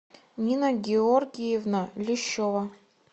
нина георгиевна лещева